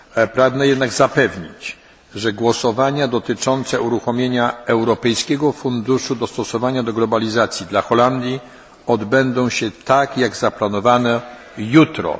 Pragnę jednak zapewnić, że głosowania dotyczące uruchomienia Europejskiego Funduszu Dostosowania do Globalizacji dla Holandii odbędą się tak jak zaplanowano, czyli jutro.